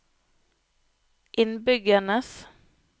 innbyggernes